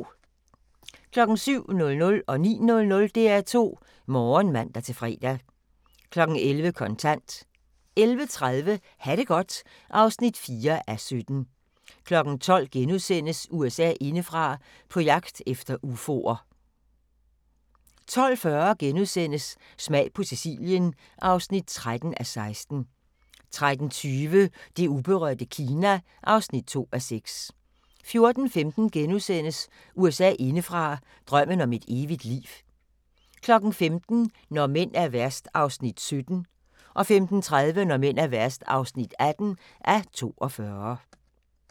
07:00: DR2 Morgen (man-fre) 09:00: DR2 Morgen (man-fre) 11:00: Kontant 11:30: Ha' det godt (4:17) 12:00: USA indefra: På jagt efter ufoer * 12:40: Smag på Sicilien (13:16)* 13:20: Det uberørte Kina (2:6) 14:15: USA indefra: Drømmen om et evigt liv * 15:00: Når mænd er værst (17:42) 15:30: Når mænd er værst (18:42)